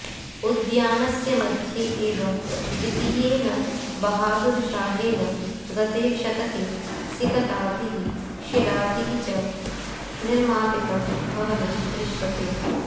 उद्यानस्य मध्ये एव द्वितीयेन बहादुरशाहेन गते शतके सिकताभिः शिलाभिः च् अ निर्मापितं भवनं द्दश्यते